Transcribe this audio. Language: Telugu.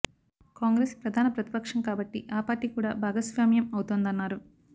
కాంగ్రెస్ ప్రధాన ప్రతిపక్షం కాబట్టి ఆ పార్టీ కూడా భాగస్వామ్యం అవుతోందన్నారు